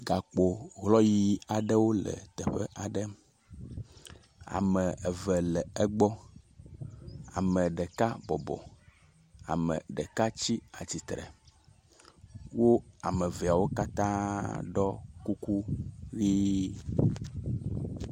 Gakpo hlɔyi aɖewo le teƒe aɖe ame eve le egbɔ ame ɖeka bɔbɔ ame ɖeka tsi atsitsre wo ameveawo katã ɖɔ kuku ɣi